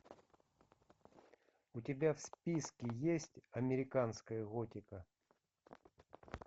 у тебя в списке есть американская готика